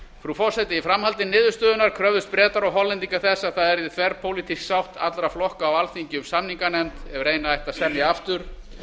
frú forseti í framhaldi niðurstöðunnar kröfðust bretar og hollendingar þess að það yrði þverpólitísk sátt allra flokka á alþingi um samninganefnd ef reyna ætti að semja aftur